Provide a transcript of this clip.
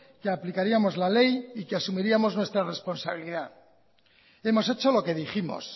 que aplicaríamos la ley y que asumiríamos nuestra responsabilidad y hemos hecho lo que dijimos